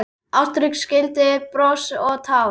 Ástrík skildir bros og tár.